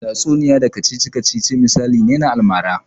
Tatsuniya da kacici-kacici misali ne na almara.